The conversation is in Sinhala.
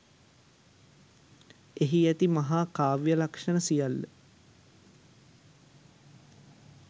එහි ඇති මහා කාව්‍ය ලක්‍ෂණ සියල්ල